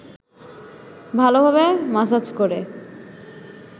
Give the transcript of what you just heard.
ভালভাবে মাসাজ করে